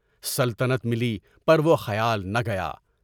سلطنت ملی پر وہ خیال نہ گیا۔